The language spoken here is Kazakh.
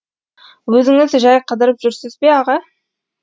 өзіңіз жай қыдырып жүрсіз бе аға